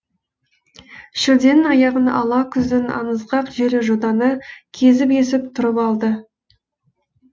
шілденің аяғын ала күздің аңызғақ желі жотаны кезіп есіп тұрып алды